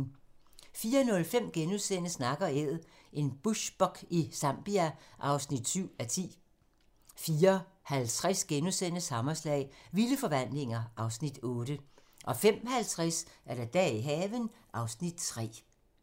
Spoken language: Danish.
04:05: Nak & Æd - en bushbuck i Zambia (7:10)* 04:50: Hammerslag - Vilde forvandlinger (Afs. 8)* 05:50: Dage i haven (Afs. 3)